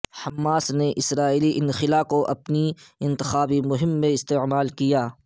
Hamas نے اسرائیلی انخلاء کو اپنی انتخابی مہم میں استعمال کیا